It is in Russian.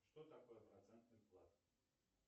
что такое процентный вклад